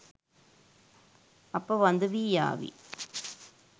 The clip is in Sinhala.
අප වඳවී යාවි